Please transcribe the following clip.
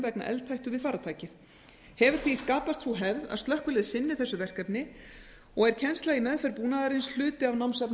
vegna eldhættu við farartækið hefur því skapast sú hefð að slökkvilið sinni þessu verkefni og er kennsla í meðferð búnaðarins hluti af námsefni